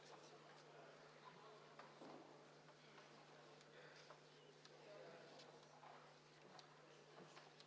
Palun kontrollida hääletamiskasti ja seda, et selle turvaplomm ei oleks rikutud.